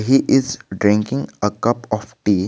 He is drinking a cup of tea.